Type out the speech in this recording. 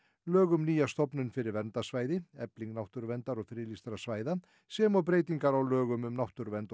lög um nýja stofnun fyrir verndarsvæði efling náttúruverndar og friðlýstra svæða sem og breytingar á lögum um náttúruvernd og